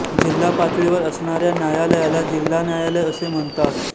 जिल्हा पातळीवर असणार्या न्यायालयाला जिल्हा न्यायालय असे म्हणतात